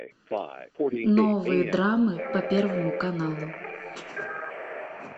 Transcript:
новые драмы по первому каналу